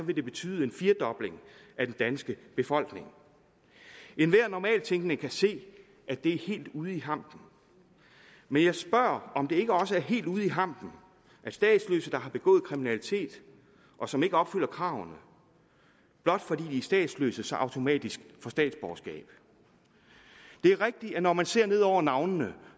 det betyde en firedobling af den danske befolkning enhver normalt tænkende kan se at det er helt ude i hampen men jeg spørger om det ikke også er helt ude i hampen at statsløse der har begået kriminalitet og som ikke opfylder kravene blot fordi de er statsløse automatisk får statsborgerskab det er rigtigt at når man ser ned over navnene